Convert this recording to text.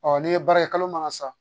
n'i ye baara ye kalo maga sa